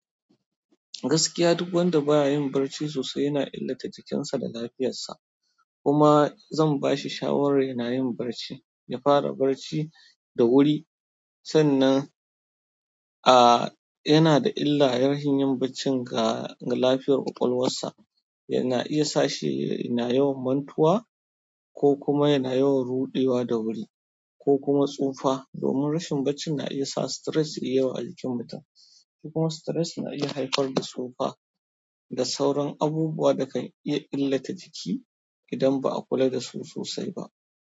Gaskiya duk wanda ba ya yin barci sosai yana illata jikinsa da lafiyarsa. Kuma zan ba shi shawarar yana yin barci, ya fara barci da wuri. Sannan yana da illa rashin yin baccin ga lafiyar kwakwalwarsa yana iya sa shi yana yawan mantuwa ko kuma yana yawan ruɗewa da wuri ko kuma tsufa. Domin rashin baccin na iya sa stress yayi yawa a jikin mutum. Kuma stress na iya haifar da tsufa da sauran abubuwa da kan iya illata jiki idan ba a kula da su sosai ba.